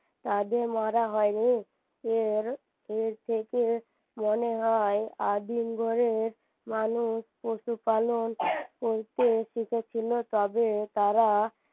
তাদের মারা হয়নি এর এর থেকে মনে হয় আদিম যুগের মানুষ পশুপালন করতে শিখেছিলো তবে তারা